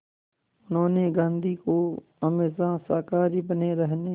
उन्होंने गांधी को हमेशा शाकाहारी बने रहने